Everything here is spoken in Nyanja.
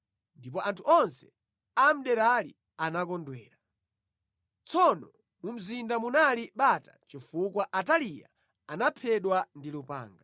ndipo anthu onse a mʼderali anakondwera. Tsono mu mzinda munali bata chifukwa Ataliya anaphedwa ndi lupanga.